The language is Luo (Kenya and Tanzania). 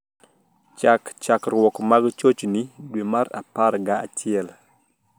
Chak chakruok mag chochni dwe mar apar ga achiel